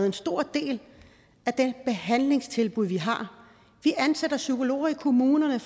en stor del af det behandlingstilbud vi har vi ansætter psykologer i kommunerne